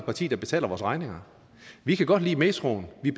parti der betaler vores regninger vi kan godt lide metroen vi